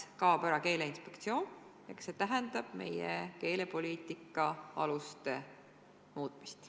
Ehk see tähendab meie keelepoliitika aluste muutmist.